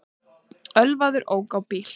Ölvaður ók á bíl